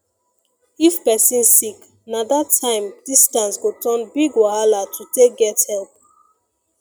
if person sick na that time distance go turn big wahala to take get help